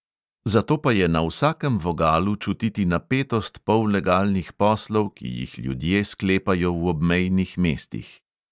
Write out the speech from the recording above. Zato pa je na vsakem vogalu čutiti napetost pollegalnih poslov, ki jih ljudje sklepajo v obmejnih mestih.